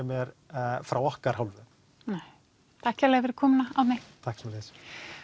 mér frá okkar hálfu nei takk kærlega fyrir komuna Árni takk sömuleiðis